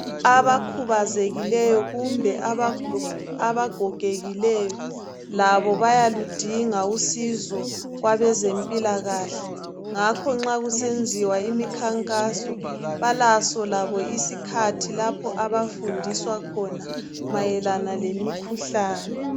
Abakhubazekileyo kumbe abagogekileyo labo bayaludinga usizo kwabezempilakahle. Ngakho nxa kusenziwa imikhankaso balaso labo isikhathi lapho abafundiswa khona mayelana lemikhuhlane.